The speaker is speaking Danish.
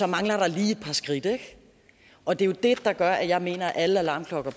mangler der lige et par skridt og det er jo det der gør at jeg mener at alle alarmklokker